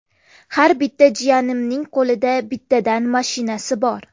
Har bitta jiyanimning qo‘lida bittadan mashinasi bor.